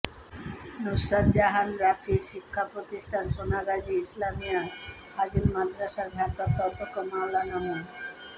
নুসরাত জাহান রাফির শিক্ষাপ্রতিষ্ঠান সোনাগাজী ইসলামিয়া ফাজিল মাদ্রাসার ভারপ্রাপ্ত অধ্যক্ষ মাওলানা মো